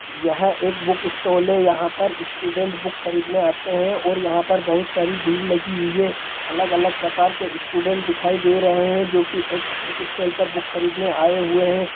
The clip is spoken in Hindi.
यह एक बुक स्टोल है| यहाँ पर स्टूडेंट बुक खरीदने आते हैं और यहाँ पर बहुत सारी भीड़ लगी हुई है| अलग-अलग प्रकार के स्टूडेंट दिखाई दे रहे हैं जो की एक बुक स्टोल पर बुक खरीदने आए हुए हैं।